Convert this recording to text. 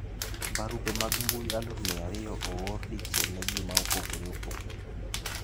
Barupe mag mbuyi aluf mia ariyo oor dichiel ne ji ma opogore opogore.